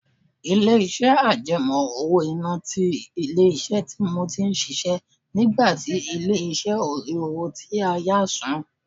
Ilé-iṣẹ́ àjẹmọ́ owó-ìná ti ilé-iṣẹ́ tí mo ti ń ṣiṣẹ́ nígbà tí ilé-ìṣẹ́ ó rí owó tí a yá san